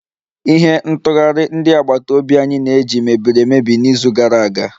Ihe ntụghari ndi agbata obi anyi na-eji mebiri emebi n'izu gara aga